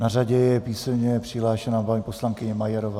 Na řadě je písemně přihlášená paní poslankyně Majerová.